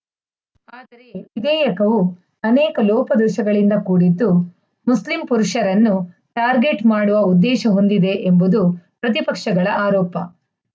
ವಿಧೇಯಕವು ಅನೇಕ ಲೋಪದೋಷಗಳಿಂದ ಕೂಡಿದ್ದು ಮುಸ್ಲಿಂ ಪುರುಷರನ್ನು ಟಾರ್ಗೆಟ್‌ ಮಾಡುವ ಉದ್ದೇಶ ಹೊಂದಿದೆ ಎಂಬುದು ಪ್ರತಿಪಕ್ಷಗಳ ಆರೋಪ